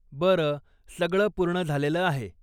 बरं. सगळं पूर्ण झालेलं आहे.